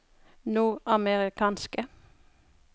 nordamerikanske